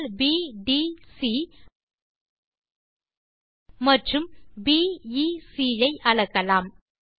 கோணங்கள் பிடிசி மற்றும் பிஇசி ஐ அளக்கலாம்